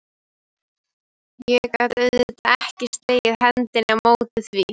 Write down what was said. Þá var nokkuð liðið á fögnuðinn og fólk orðið drukkið.